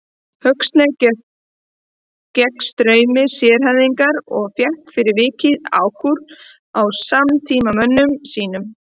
Huxley gekk gegn straumi sérhæfingarinnar og fékk fyrir vikið ákúrur frá samtímamönnum sínum.